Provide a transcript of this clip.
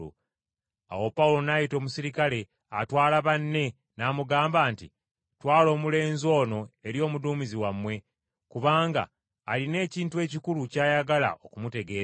Awo Pawulo n’ayita omuserikale atwala banne n’amugamba nti, “Twala omulenzi ono eri omuduumizi wammwe, kubanga alina ekintu ekikulu ky’ayagala okumutegeeza.”